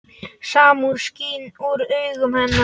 Samúð skín úr augum hennar.